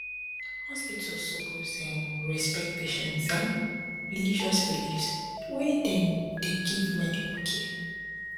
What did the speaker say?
hospitals suppose um respect patients um religious beliefs wen dem dey give medical care